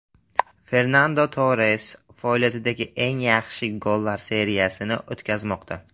Fernando Torres faoliyatidagi eng yaxshi gollar seriyasini o‘tkazmoqda.